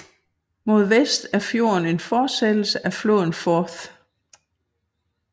Mod vest er fjorden en fortsættelse af floden Forth